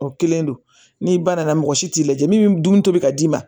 O kelen don ni ba nana mɔgɔ si t'i lajɛ min dun bɛ ka d'i ma